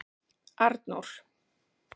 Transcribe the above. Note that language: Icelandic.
Arnór